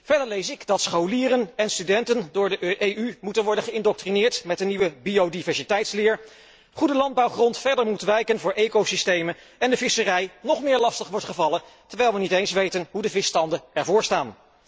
Verder lees ik dat scholieren en studenten door de EU moeten worden geïndoctrineerd met de nieuwe biodiversiteitsleer, goede landbouwgrond verder moet wijken voor ecosystemen en de visserij nog meer lastig wordt gevallen, terwijl wij niet eens weten hoe de visbestanden ervoor staan.